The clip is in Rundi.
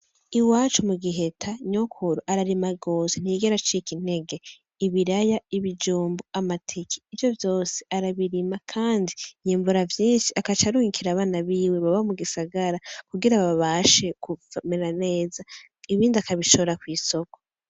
Iwacu mu Giheta nyokuru ararima rwose ntiyigera acike intege. Ibiraya, ibijumbu, amateke, ivyo vyose arabirima kandi yimbura vyinshi akaca arungikira abana biwe baba mu gisgara kugira babashe kumera neza ibindi akabishora kw'isoko.